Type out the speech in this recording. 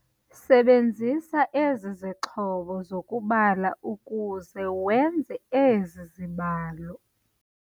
Sebenzisa ezi zixhobo zokubala ukuze wenze ezi zibalo.